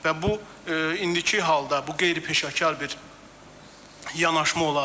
Və bu indiki halda bu qeyri-peşəkar bir yanaşma olardı.